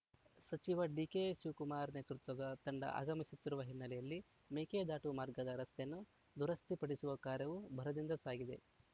ಸಚಿವ ಡಿಕೆಶಿವಕುಮಾರ್‌ ನೇತೃತ್ವದ ತಂಡ ಆಗಮಿಸುತ್ತಿರುವ ಹಿನ್ನೆಲೆಯಲ್ಲಿ ಮೇಕೆದಾಟು ಮಾರ್ಗದ ರಸ್ತೆಯನ್ನು ದುರಸ್ಥಿ ಪಡಿಸುವ ಕಾರ್ಯವೂ ಭರದಿಂದ ಸಾಗಿದೆ